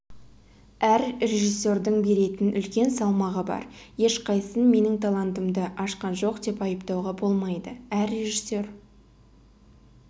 әр режиссердің беретін үлкен салмағы бар ешқайсысын менің талантымды ашқан жоқ деп айыптауға болмайды әр режиссер